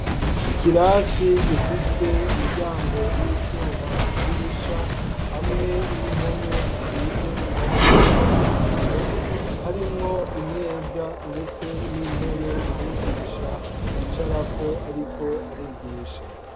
Ikirasi, gifise umuryango w'icuma, idirisha, hamwe n'impome zisize irangi ry'umuhondo; harimwo imeza, ndetse n'intebe, umwigisha yicarako, ariko arigisha.